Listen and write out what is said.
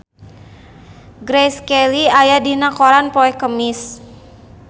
Grace Kelly aya dina koran poe Kemis